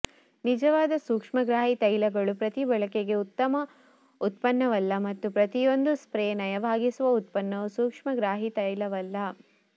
ನಿಜವಾದ ಸೂಕ್ಷ್ಮಗ್ರಾಹಿ ತೈಲಗಳು ಪ್ರತಿ ಬಳಕೆಗೆ ಉತ್ತಮ ಉತ್ಪನ್ನವಲ್ಲ ಮತ್ತು ಪ್ರತಿಯೊಂದು ಸ್ಪ್ರೇ ನಯವಾಗಿಸುವ ಉತ್ಪನ್ನವು ಸೂಕ್ಷ್ಮಗ್ರಾಹಿ ತೈಲವಲ್ಲ